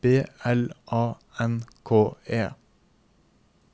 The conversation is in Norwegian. B L A N K E